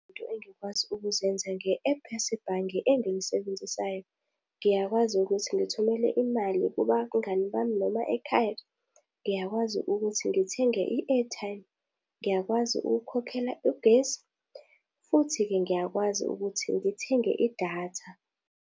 Izinto engikwazi ukuzenza nge-ephu yasebhange engilisebenzisayo. Ngiyakwazi ukuthi ngithumele imali kubangani bami noma ekhaya. Ngiyakwazi ukuthi ngithenge i-airtime, ngiyakwazi ukukhokhela ugesi, futhi-ke ngiyakwazi ukuthi ngithenge idatha.